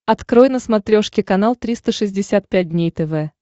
открой на смотрешке канал триста шестьдесят пять дней тв